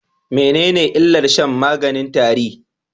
Menene illar shan maganin tare?